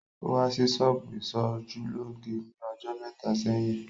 Ó wá sí ṣọ́bù ìsojúlóge ní ọjọ́ mẹ́ta sẹ́yìn